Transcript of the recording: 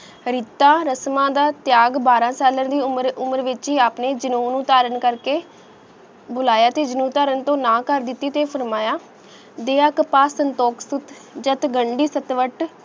ਅਰੀਤਾ ਰਸਮਾ ਦਾ ਤ੍ਯਾਗ ਬਾਰਾ ਸਾਲਾ ਦੀ ਉਮਰ ਉਮਰ ਵਿਚ ਹੀ ਆਪਣੇ ਜਨੂੰਨ ਨੂੰ ਤਾਰਨ ਕਰਕੇ ਬੁਲਾਇਆ ਤੇ ਜਨੂੰਨ ਨੇ ਨਾ ਕਰ ਦਿੱਤੀ ਤੇ ਫਰਮਾਯਾ ਦਿਯਾ ਕਾਂਪਾ ਸੰਤੋਕ ਸੁਤ ਜਤ ਗੰਦੀ ਸਤਵਤਤ